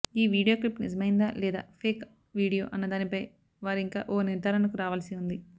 ఈ video clip నిజమైందా లేక ఫేక్ వీడియో అన్నదానిపై వారింకా ఓ నిర్ధారణకు రావాల్సి ఉంది